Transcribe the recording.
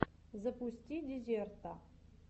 запусти дезерта